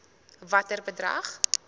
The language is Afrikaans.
watter bedrag